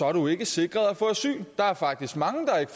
er du ikke sikret at få asyl der er faktisk mange der ikke